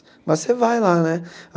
Mas você vai lá, né?